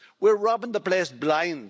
We're robbing the place blind.